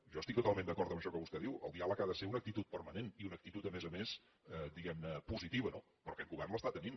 jo estic totalment d’acord en això que vostè diu el dià leg ha de ser una actitud permanent i una actitud a més a més diguem ne positiva no però aquest govern l’està tenint